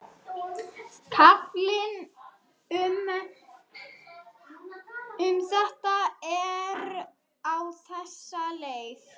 Kaflinn um þetta er á þessa leið: